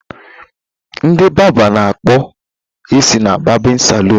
Ndị barba na akpụ isi na barbịn salụn.